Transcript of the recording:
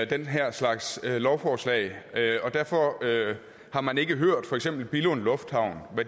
den her slags lovforslag og derfor har man ikke hørt hvad for eksempel billund lufthavn